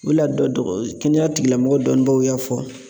O de la dɔ dɔ kɛnɛyatigilamɔgɔ dɔnnibagaw y'a fɔ.